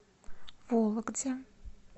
вологде